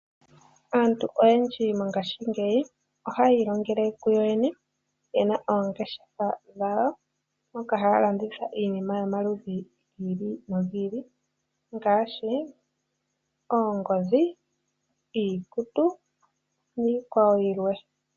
Aantu oyendji mongashingeyi ohaya ilongele kuyo yene, yena oongeshefa dhawo yo yene moka haa landitha iinima yomaludhi gi ili nogi ili ngaashi oongodhi, iikutu niikwawo yilwe.